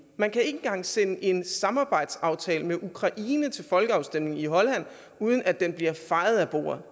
man kan ikke engang sende en samarbejdsaftale med ukraine til folkeafstemning i holland uden at den bliver fejet af bordet